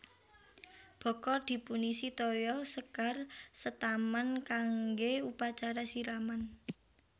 Bokor dipunisi toya sekar setaman kanggè upacara siraman